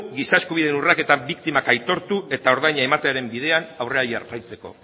giza eskubideen urraketen biktimak aitortu eta ordaina ematearen bidean aurrera jarraitzeko